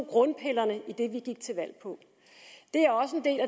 grundpillerne i det vi gik til valg på